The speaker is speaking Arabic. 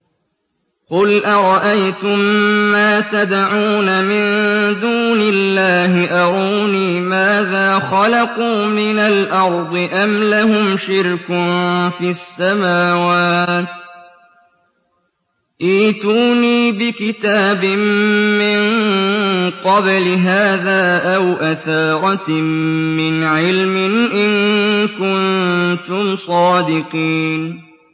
قُلْ أَرَأَيْتُم مَّا تَدْعُونَ مِن دُونِ اللَّهِ أَرُونِي مَاذَا خَلَقُوا مِنَ الْأَرْضِ أَمْ لَهُمْ شِرْكٌ فِي السَّمَاوَاتِ ۖ ائْتُونِي بِكِتَابٍ مِّن قَبْلِ هَٰذَا أَوْ أَثَارَةٍ مِّنْ عِلْمٍ إِن كُنتُمْ صَادِقِينَ